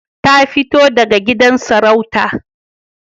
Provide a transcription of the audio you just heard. Ta fito daga gidan sarauta